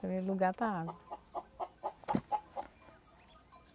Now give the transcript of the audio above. Primeiro lugar está a água.